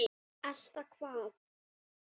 Nú er ég sofnuð.